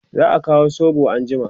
za'a Kawo soɓo anjima